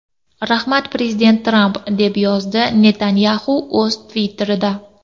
Rahmat, prezident Tramp”, deb yozdi Netanyaxu o‘z Twitter’ida.